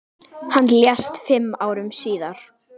Hann lést fimm árum síðar.